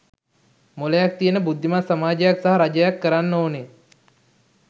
මොළයක් තියෙන බුද්ධිමත් සමාජයක් සහ රජයක් කරන්න ඕනෙ